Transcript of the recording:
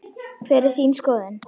Hver er þín skoðun?